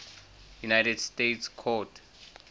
united states court